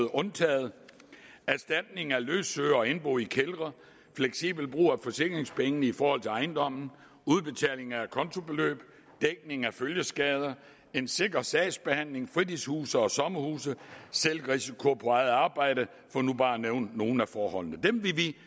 undtaget erstatning af løsøre og indbo i kældre fleksibel brug af forsikringspengene i forhold til ejendommen udbetaling af acontobeløb dækning af følgeskader en sikker sagsbehandling fritidshuse og sommerhuse selvrisiko på eget arbejde for nu bare at nævne nogle af forholdene dem vil vi